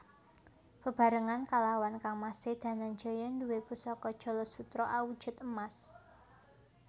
Beberangan kalawan kangmasé Dananjaya nduwé pusaka jala sutra awujud emas